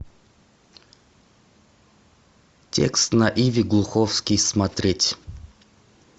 текст на иви глуховский смотреть